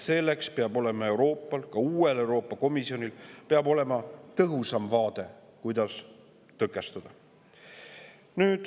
Seetõttu peab olema Euroopal, ka uuel Euroopa Komisjonil, tõhusam vaade, kuidas seda tõkestada.